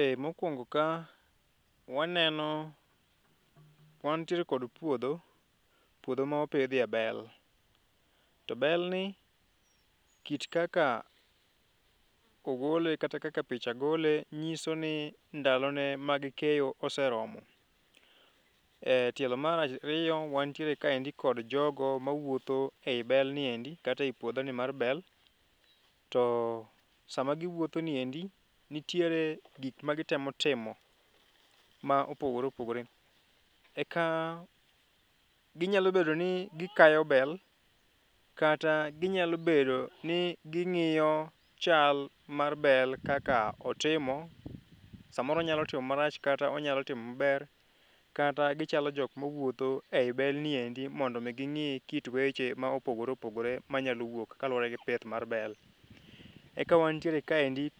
e mokuong'o ka waneno ,wantiere kod puodho mopidhie bel ,to bl ni kik kaka ogole kata kaka picha gole nyiso ni ndalo ne mag keyo oseromo,e tielo mar ariyo wantiere kaendi kod jogo mawuotho ei belni endi kata e puodho ni mar bel ,to sama giwuotho niendi nitiere gik ma gitemo timo ma opogore opogore ,eka ginyalo bedo ni gikayo bel kata nyalo bedo ni gingiyo chal mar el kaka otimo, samoro onyalo timo marach kata onyalo timo maber, kata gichalo jok mawuotho ei belni endi mondo mi ging'i kit weche ma opogore opogore manyalo wuok kaluwore gi pith mar bel eka wantiere kod ka eni gi